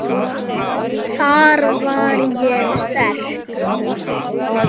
Þar var ég sterk.